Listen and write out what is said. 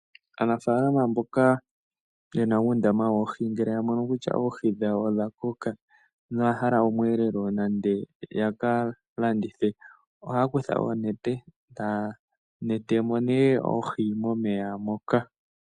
Aanafalama mboka ye na uundama woohi ngele ya mono kutya oohi dhawo odha koka noya hala omweelelo nande ya ka landithe, ohaya kutha oonete taya nete mo nee oohi momeya moka.